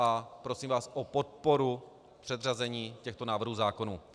A prosím vás o podporu předřazení těchto návrhů zákonů.